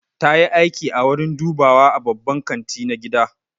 Ta yi aiki a wurin dubawa a babban kanti na gida.